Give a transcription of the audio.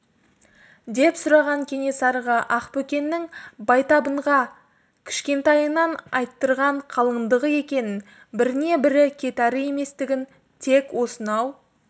деп сұраған кенесарыға ақбөкеннің байтабынға кішкентайынан айттырған қалыңдығы екенін біріне бірі кет әрі еместігін тек осынау